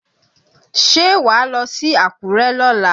Ṣé wàá lọ sí Àkúrẹ́ lọ́la?